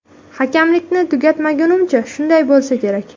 Hakamlikni tugatgunimcha shunday bo‘lsa kerak.